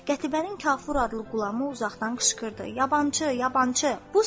Qətibənin Kafur adlı qulamı uzaqdan qışqırdı: “Yabançı, yabançı!”